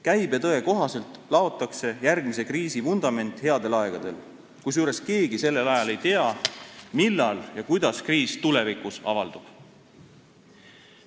Käibetõe kohaselt laotakse järgmise kriisi vundament headel aegadel, kusjuures siis ei tea keegi, millal ja kuidas kriis avaldub.